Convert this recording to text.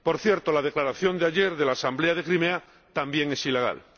Por cierto, la declaración de ayer de la Asamblea de Crimea también es ilegal.